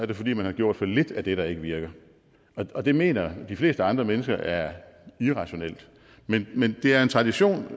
det fordi man har gjort for lidt af det der ikke virker det mener de fleste andre mennesker er irrationelt men men det er en tradition